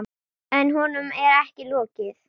En honum er ekki lokið.